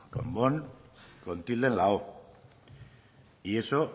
con bón con tilde en la o y eso